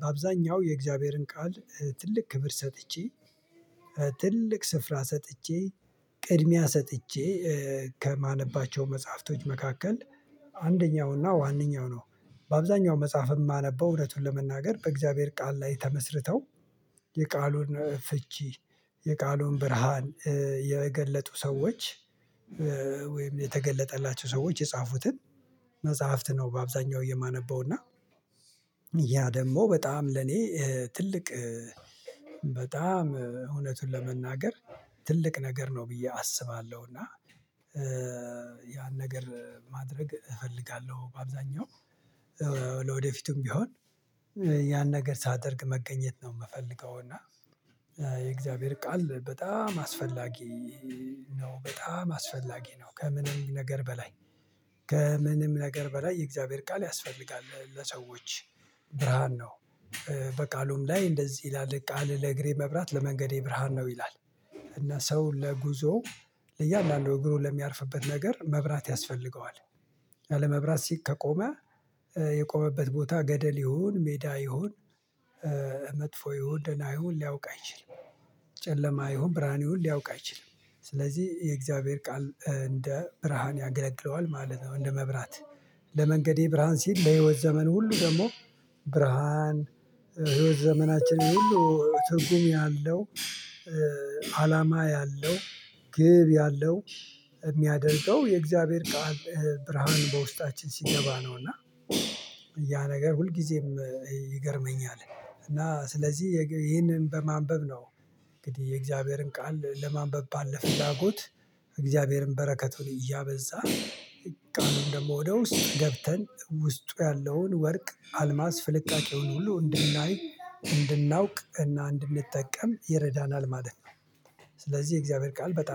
በአብዛኛው የእግዚአብሔርን ቃል ትልቅ ክብር ሰጥቼ ትልቅ ስፍራ ሰጥቼ ቅድሚያ ሰጥቼ ከማነባቸው መጽሐፍቶች መካከል አንደኛውና ዋነኛው ነው። በአብዛኛው መጽሐፍ የማነበው እውነቱን ለመናገር በእግዚአብሔር ቃል ላይ ተመስርተው የቃሉን ፍቺ የቃሉን ብርሃን የገለጡ ሰዎች ወይም የተገለጠላቸው ሰዎች የጻፉትን መጽሐፍት ነው። በአብዛኛው የማነበው እና ያ ደግሞ በጣም ለኔ ትልቅ በጣም እውነቱን ለመናገር ትልቅ ነገር ነው ብዬ አስባለሁ። እና ያን ነገር ማድረግ እፈልጋለሁ በአብዛኛው ለወደፊቱም ቢሆን ያን ነገር ሳደርግ መገኘት ነው የምፈልገው። እና የእግዚአብሔር ቃል በጣም አስፈላጊ ነው በጣም አስፈላጊ ነው ከምንም ነገር በላይ ከምንም ነገር በላይ የእግዚአብሔር ቃል ያስፈልጋል ለሰዎች ብርሃን ነው። በቃሉም ላይ እንደዚህ ይላል ቃል ለእግሬ መብራት ለመንገዴ ብርሃን ነው ይላል። እና ሰው ለጉዞ ለእያንዳንዱ እግሩን ለሚያርፍበት ነገር መብራት ያስፈልገዋል ያለመብራት ሲቅ ከቆመ የቆመበት ቦታ ገደል ይሁን ሜዳ ይሁን መጥፎ ይሁን ደና ይሁን ሊያውቅ አይችልም። ጨለማ ይሁን ብርሃን ይሁን ሊያውቅ አይችልም። ስለዚህ የእግዚአብሔር ቃል እንደ ብርሃን ያገለግለዋል ማለት ነው። እንደ መብራት ለመንገዴ ብርሃን ሲል ለህይወት ዘመን ሁሉ ደግሞ ብርሃን ህይወት ዘመናችንን ሁሉ ትርጉም ያለው አላማ ያለው ግብ ያለው የሚያደርገው የእግዚአብሔር ቃል ብርሃን በውስጣችን ሲገባ ነው። እና ያ ነገር ሁልጊዜም ይገርመኛል እና ስለዚህ ይህንን በማንበብ ነው እንግዲህ የእግዚአብሔርን ቃል ለማንበብ ባለ ፍላጎት እግዚአብሔርን በረከቱን እያበዛ ቃሉን ደግሞ ወደ ውስጥ ገብተን ውስጡ ያለውን ወርቅ አልማዝ ፍልቃቄውን ሁሉ እንድናይ እንድናውቅ እና እንድንጠቀም ይረዳናል ማለት ነው። ስለዚህ የእግዚአብሔር ቃል በጣም